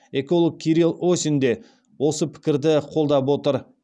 эколог кирилл осин де осы пікірді қолдап отыр